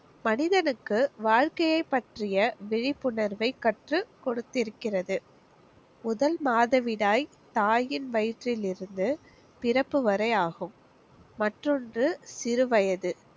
மனிதனுக்கு வாழ்க்கையை பற்றிய விழிப்புணர்வை கற்றுக் கொடுத்திருக்கிறது. முதல் மாதவிடாய் தாயின் வயிற்றிலிருந்து பிறப்பு வரை ஆகும். மற்றொன்று சிறு வயது.